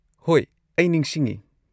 ꯍꯣꯏ, ꯑꯩ ꯅꯤꯡꯁꯤꯡꯉꯦ꯫